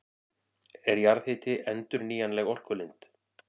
Er jarðhiti endurnýjanleg orkulind?